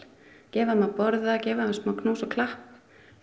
gefa þeim að borða og gefa þeim smá knús og klapp svo